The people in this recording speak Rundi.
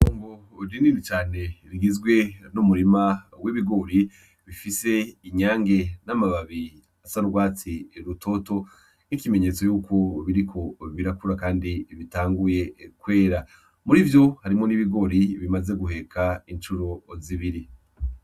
Itongo rinini cane rigizwe n'umurima w'ibigori , bifise inyange n'amababi asa n'urwatsi rutoto nk'ikimenyetso cuko biriko birakura kandi bitanguye kwera. Muri ivyo, harimwo n'ibigori bimaze guheka incuro zibiri.